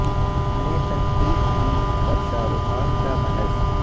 نے تنقید کی پر شاہ رخ خان کا محض